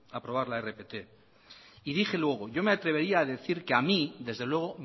aprobar la rpt y dije luego yo me atrevería a decir que a mí desde luego